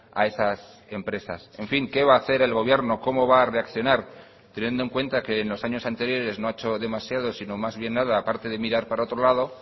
a esas empresas en fin qué va a hacer el gobierno cómo va a reaccionar teniendo en cuenta que en los años anteriores no ha hecho demasiado sino más bien nada a parte de mirar para otro lado